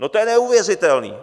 No, to je neuvěřitelný.